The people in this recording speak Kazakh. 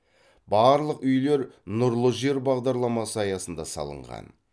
барлық үйлер нұрлы жер бағдарламасы аясында салынған